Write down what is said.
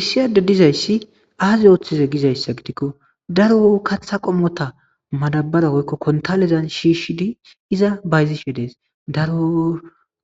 Issiyade dizayssi aazi ooththize gizayssa gidikko daro katha qommota madabara woykko kontalizan shiishshidi iza bayzishe dees daro